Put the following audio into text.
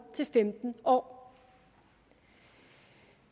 til femten år